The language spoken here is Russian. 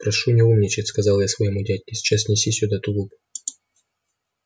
прошу не умничать сказал я своему дядьке сейчас неси сюда тулуп